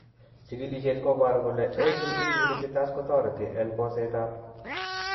Chigilisiet koboru kole ACE inhibitors kotoreti en boset ab